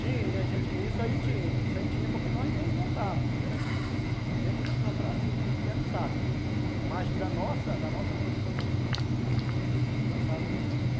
Tinha, isso aí tinha, isso aí tinha porque nós mesmo plantávamos, era dificilmente nos comprarmos assim, industrializado, aham, mas da nossa da nossa produção nós tínhamos e plantávamos muito.